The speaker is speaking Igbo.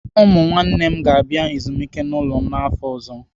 Ụmụ nwanne m ga-abịa ezumike n'ụlọ m n'afọ ọzọ.